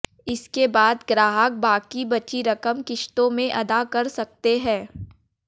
इसके बाद ग्राहक बाकी बची रक़म किस्तों में अदा कर सकते हैं